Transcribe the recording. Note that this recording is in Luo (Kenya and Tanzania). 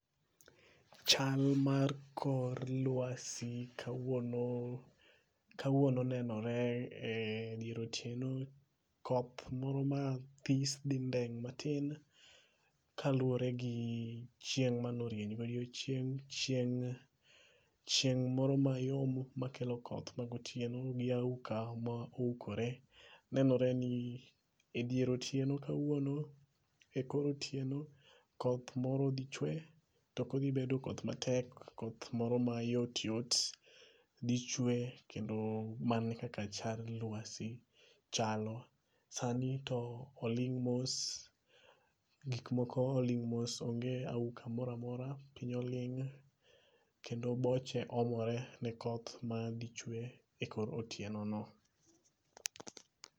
Chal mar kor lwasi kawuono nenore edier otieno, koth moro mathis dhi ndeng' matin, kaluore gi chieng' mano rieny godichieng' chieng moro mayong makelo koth magotieno gi auka ma oukore. Nenoreni edier otieno kawuono ekor otieno koth moro dhi chwe tokodhi bedo koth matek, koth moro mayot yot dhi chwe kendo mana kaka chal mar lwasi chalo ,sani to oling' mos, gik moko oling' mos onge auka moramora piny oling' kendo boche omore ne koth madhi chwe ekor otieno no.